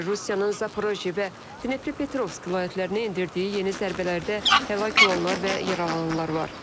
Rusiyanın Zaporojye və Dnepropetrovsk vilayətlərinə endirdiyi yeni zərbələrdə həlak olanlar və yaralananlar var.